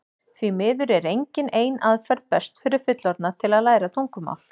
því miður er engin ein aðferð best fyrir fullorðna til að læra tungumál